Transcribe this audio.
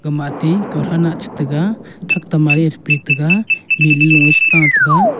mati kawtho nah chetega thak ta mari thapi tega bilu e shita tega --